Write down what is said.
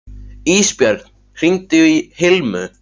Ísbjörn, hringdu í Hilmu.